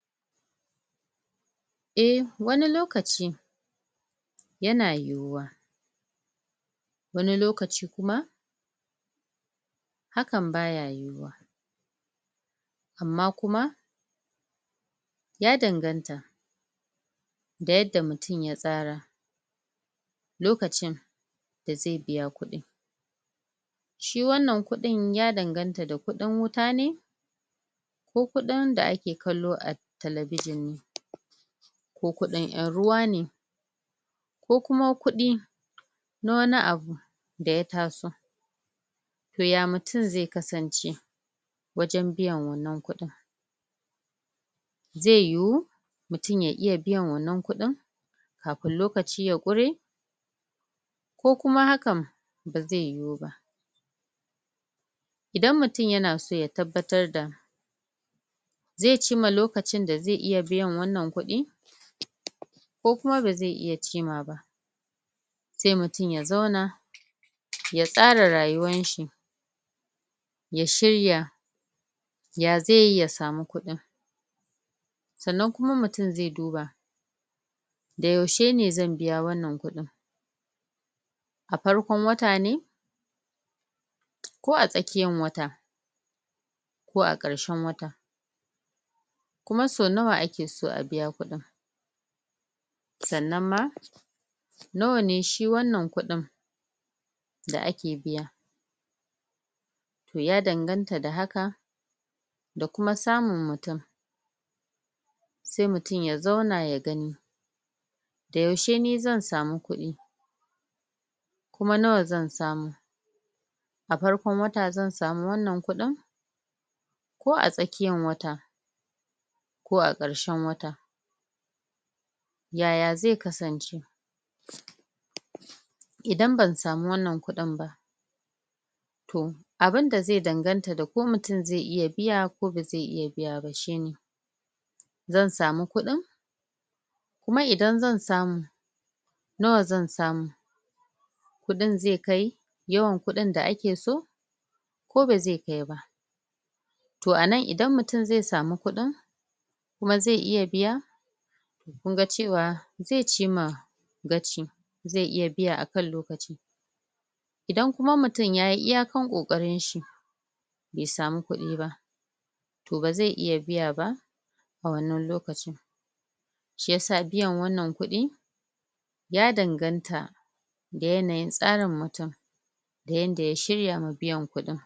eh wani lokaci yana yiyuwa wani lokaci kuma hakan baya yiyuwa amma kuma ya danganta da yadda mutum ya tsara lokacin da zai biya kudin shi wannan kudin ya danganta da kudin wuta ne ko kudin da ake kallo a telebijin ne ko kudin en ruwa ne ko kuma kudi na wani abu da ya taso toh ya mutum ze kasance wajen biyan wannan kudin ze yiyu mutum ya iya biyan wannan kudin kafin lokaci ya ƙware ko kuma hakan ba ze yiwu ba idan mutum yana so ya tabbatar da ze chima lokacin da ze iya biyan wannan kudi ko kuma ba ze iya chima ba sai mutum ya zauna ya tsara rayuwan shi ya shirya ya ze yi ya samu kudin sannan mutum ze duba da yaushe ne zan biya wannan kudin a farkon wata ne ako a tsakiyan wata ko a karshen wata kuma sau nawa ake so a biya kudin sannan ma nawa ne shi wannan kudin da ake biya ya danganta da haka da kuma samun mutum sai mutum ya zauna ya gani da yaushe ni zan samu kudi kuma nawa zan samu a farkon wata zan samu wannan kudin ko a tsakiyan wata ko a karshen wata yaya ze kasance idan ban samu wannan kudin ba toh abun da ze danganta da ko mutum ze iya biya koh ba ze iya biya ba shine zan samu kudin kuma idan zan samu nawa zan samu kudin ze kai yawan kudin da ake so ko ba ze kai ba toh anan idan mutum ze samu kudin kuma ze iya biya kun ga cewa ze chima ze iya biya akan lokaci idan mutum yayi iya kan kokarin shi bai samu kudi ba toh ba ze iya biya ba a wannan lokacin shiyasa biyan wannan kudi ya danganta da yanayin tsarin mutum da yanda ya shirya ma biyan kudin